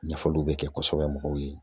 Ɲɛfɔliw bɛ kɛ kosɛbɛ mɔgɔw ye